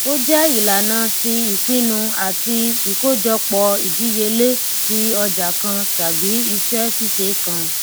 ó jẹ ìlànà ti ìpinnu àti ìkójọpọ ìdíyelé ti ọjà kan tàbí iṣẹ ṣíṣe kan